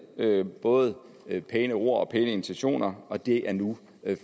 både pæne ord og pæne intentioner og det er nu